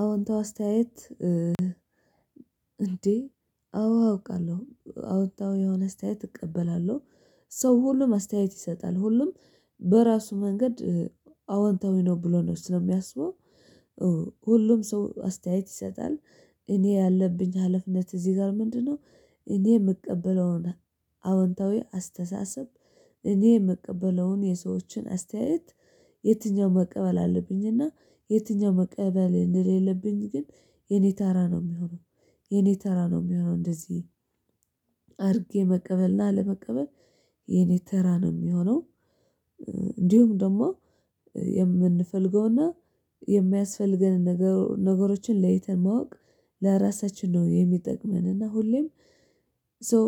አዎንታዊ አስተያየት። እንዴ? አዎ አውቃለሁ አዎንታዊ የሆነ አስተያየት እቀበላለሁ። ሰው ሁሉም አስተያየት ይሰጣል ሁሉም በራሱ መንገድ አወንታዊ ነው ብሎ ነው ስለሚያስበው ሁሉም ሰው አስተያየት ይሰጣል። እኔ ያለብኝ ሀላፊነት እዚህ ጋር ምንድነው? እኔ የምቀበለው አዎንታዊ አስተሳሰብ እኔ የምቀበለውን የሰዎችን አስተያየት የትኛው መቀበል አለብኝና? የትኛው መቀበል እንደሌለብኝ ግን የኔ ተራ ነው የሚሆነው። የኔ ተራ ነው የሚሆነው እንደዚህ አድርጌ መቀበል እና ለመቀበል የኔ ተራ ነው የሚሆነው። እንዲሁም ደግሞ የምንፈልገውና የሚያስፈልገንን ነገሮችን ለይተን ማወቅ ለራሳችን ነው የሚጠቅመንና እና ሁሌም ሶ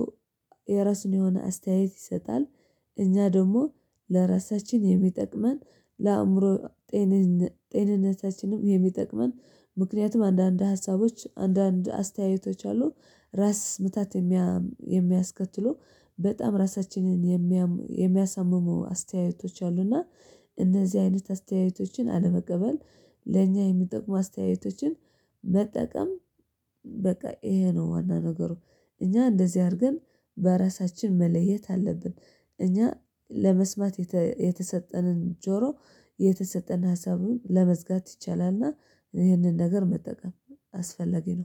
የራሱን የሆነ አስተያየት ይሰጣል። እኛ ደግሞ ለራሳችን የሚጠቅመን ለአእምሮ ጤንነታችንም የሚጠቅመን አንዳንድ ሀሳቦች አንዳንድ አስተያየቶች አሉ። ራስ ምታት የሚያስከትሉ በጣም ራሳችንን የሚያሳምሙ አስተያየቶች አሉና። እነዚህ አይነት አስተያየቶችን አለመቀበል ለእኛ የሚጠቅሙ አስተያየቶችን መጠቀም በቃ ይሄ ነው ዋና ነገሩ። እኛ እንደዚህ አድርገን በራሳችን መለየት አለብን። እኛ ለመስማት የተሰጠንን ጆሮ የተሰጠን ሀሳቡን ለመዝጋት ይቻላልና ይህንን ነገር መጠቀም አስፈለጊ ነው